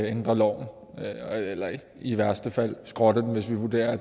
ændre loven eller i værste fald skrotte den hvis vi vurderer at